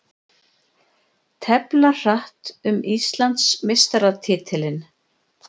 Tefla hratt um Íslandsmeistaratitil